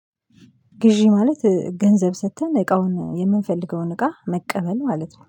ግዢ ማለት ገንዘብ ሰጥተን እቃውን የምንፈልገውን እቃ መቀበል ማለት ነው